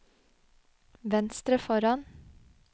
venstre foran